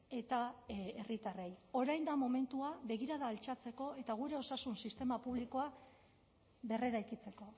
eta herritarrei orain da momentua begirada altxatzeko eta gure osasun sistema publikoa berreraikitzeko